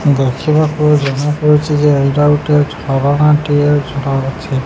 ଗଛ ମାପ ଜଣାପଡ଼ୁଚିଯେ ଏଇଟା ଗୁଟେ ଝରଣା ଟିଏ ଝରୁଛି।